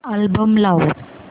album लाव